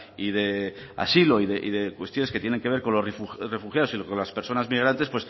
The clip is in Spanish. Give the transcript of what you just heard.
y de asilo y de cuestiones que tienen que ver con los refugiados y con las personas migrantes